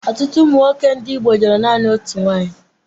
Ọtụtụ ụmụ nwoke ndị Igbo lụrụ naanị otu nwaanyị.